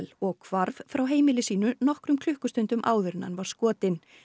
og hvarf frá heimili sínu nokkrum klukkustundum áður en hann var skotinn